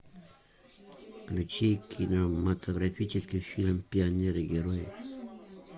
включи кинематографический фильм пионеры герои